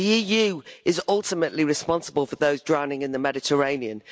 The EU is ultimately responsible for those drowning in the Mediterranean.